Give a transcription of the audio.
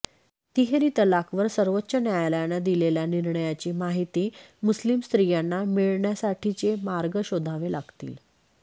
तिहेरी तलाकवर सर्वोच्च न्यायालयानं दिलेल्या निर्णयाची माहिती मुस्लीम स्त्रियांना मिळण्यासाठीचे मार्ग शोधावे लागतील